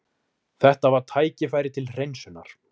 Þetta var tækifæri til hreinsunar.